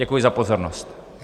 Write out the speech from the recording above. Děkuji za pozornost.